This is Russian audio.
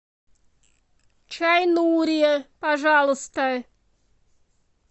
чай нури пожалуйста